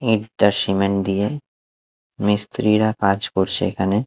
একটা সিমেন্ট দিয়ে মিস্ত্রিরা কাজ করছে এখানে।